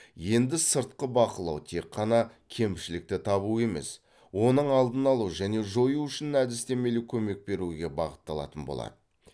енді сыртқы бақылау тек қана кемшілікті табу емес оның алдын алу және жою үшін әдістемелік көмек беруге бағытталатын болады